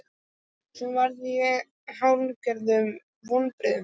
Svo varð ég fyrir hálfgerðum vonbrigðum.